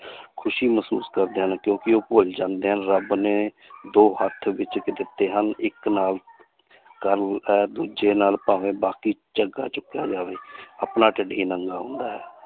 ਖ਼ੁਸ਼ੀ ਮਹਿਸੂਸ ਕਰਦੇ ਹਨ ਕਿਉਂਕਿ ਉਹ ਭੁੱਲ ਜਾਂਦੇ ਹਨ ਰੱਬ ਨੇ ਦੋ ਹੱਥ ਦਿੱਤੇ ਹਨ ਇੱਕ ਨਾਲ ਦੂਜੇ ਨਾਲ ਭਾਵੇਂ ਬਾਕੀ ਝੱਗਾ ਚੁੱਕਿਆ ਜਾਵੇ ਆਪਣਾ ਢਿੱਡ ਹੀ ਨੰਗਾ ਹੁੰਦਾ ਹੈ